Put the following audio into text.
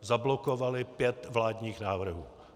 zablokovali pět vládních návrhů.